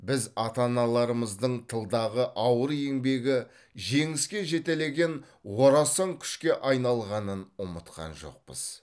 біз ата аналарымыздың тылдағы ауыр еңбегі жеңіске жетелеген орасан күшке айналғанын ұмытқан жоқпыз